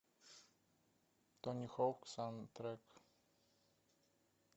тони хоук саундтрек